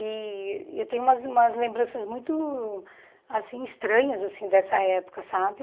E eu tenho umas umas lembranças muito assim estranhas assim dessa época, sabe?